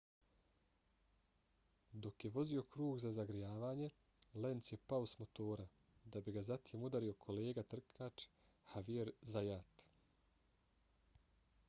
dok je vozio krug za zagrijavanje lenz je pao s motora da bi ga zatim udario kolega trkač xavier zayat